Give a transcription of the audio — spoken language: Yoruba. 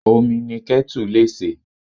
Omi ni ketu lè se.